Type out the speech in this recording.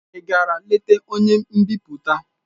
Ị gara leta onye mbipụta?